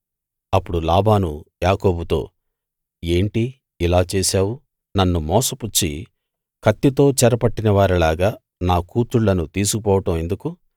అప్పుడు లాబాను యాకోబుతో ఏంటి ఇలా చేశావు నన్ను మోసపుచ్చి కత్తితో చెరపట్టిన వారిలాగా నా కూతుళ్ళను తీసుకుపోవడం ఎందుకు